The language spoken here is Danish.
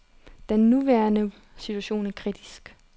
Den nuværende situation er kritisk.